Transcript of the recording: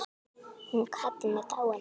Hún Katrín er dáin.